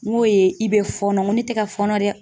N ko ye i bɛ fɔnɔn n ko ne tɛ ka fɔnɔ dɛ.